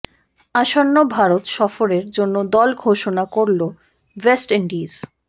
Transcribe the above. আসন্ন ভারত সফরের জন্য দল ঘোষণা করল ওয়েস্ট ইন্ডিজ